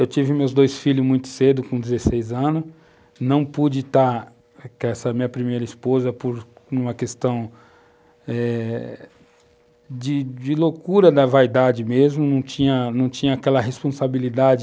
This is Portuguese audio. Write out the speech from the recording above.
Eu tive meus dois filhos muito cedo, com 16 anos, não pude estar com essa minha primeira esposa por uma questão eh de loucura da vaidade mesmo, não tinha tinha aquela responsabilidade